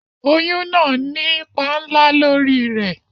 Oyún náà nípa ńlá lórí i rẹ̀